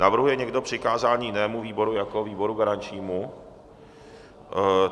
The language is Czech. Navrhuje někdo přikázání jinému výboru jako výboru garančnímu?